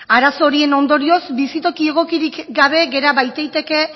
arazo horien ondorioz bizitoki egokirik gabe gera baitaiteke